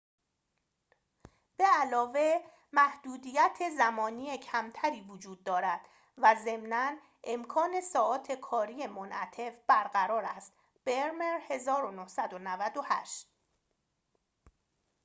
به‌علاوه، محدودیت زمانی کمتری وجود دارد و ضمناً امکان ساعات کاری منعطف برقرار است. برمر، 1998